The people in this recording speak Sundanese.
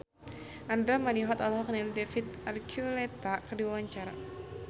Andra Manihot olohok ningali David Archuletta keur diwawancara